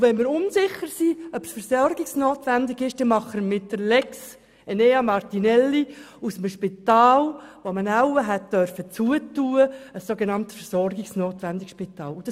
Wenn wir unsicher sind, ob ein Spital versorgungsnotwendig ist, machen wir mit der Lex Enea Martinelli aus einem Spital, das man wahrscheinlich schliessen dürfte, ein sogenannt versorgungsnotwendiges.